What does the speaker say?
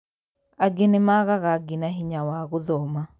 angĩ nĩmagaga nginya bata wa gũthoma